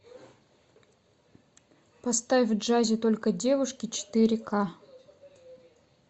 поставь в джазе только девушки четыре ка